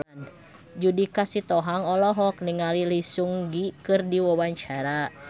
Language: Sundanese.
Judika Sitohang olohok ningali Lee Seung Gi keur diwawancara